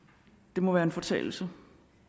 det må være en fortalelse